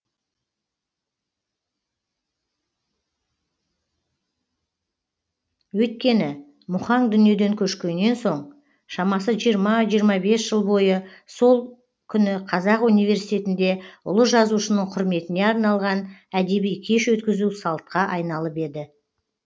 өйткені мұхаң дүниеден көшкеннен соң шамасы жиырма жиырма бес жыл бойы сол күні қазақ университетінде ұлы жазушының құрметіне арналған әдеби кеш өткізу салтқа айналып еді